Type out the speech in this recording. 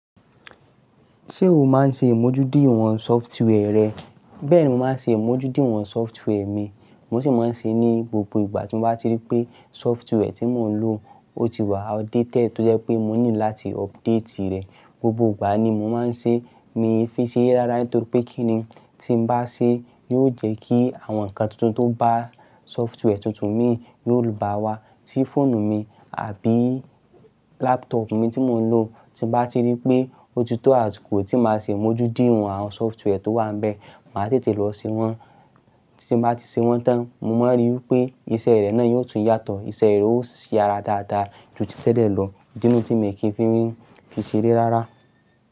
Ṣé o máa ń ṣe àmójú dí ìwọ̀n software rẹ? Bẹ́ẹ̀ni, mo máa ń ṣe imójú dí ìwọ̀n software mi. Mo sì máa ń ṣe é ní gbogbo ìgbà tí mo bá ti rí pé software tí mò ń lò o ti wà outdated tó jẹ́ pé mo need láti update rẹ̀. Gbogbo ìgbà ni mo máa ń ṣe mi fi sere rárá nitorí pé kíni tí n bá ṣe yóò jẹ́ kí àwọn ǹnkan tuntun tó bá software tuntun mi yóò bá wa sí fóònù mi àbí laptop mi tí mò ń lò. Tí mo bá ti rí pé ó ti to àsìkò tí máa ṣe imojudiwọ̀n àwọn software tó wà níbẹ̀. Màá tètè lọ ṣe wọ́n, tí mo bá ti ṣe wọ́n tán, mo máa n ríi wipé iṣẹ́ rẹ̀ náà yóò tún yàtọ̀, iṣẹ́ rẹ̀ ó sì ara dáadáa ju títẹ̀lẹ̀ lọ. Idini tí mi kì í fi n fi ṣere rárá.